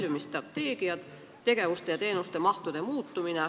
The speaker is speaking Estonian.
Mõtlen siis väljumisstrateegiat, mis peab silmas tegevusmahtude muutumist.